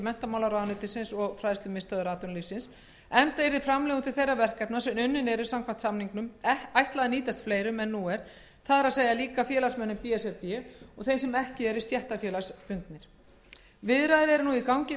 menntamálaráðuneytisins og fa enda yrði framlögum til þeirra verkefna sem unnin eru samkvæmt samningnum ætlað að nýtast fleirum en nú er það er félagsmönnum b s r b og þeim sem ekki eru stéttarfélagsbundnir viðræður eru í gangi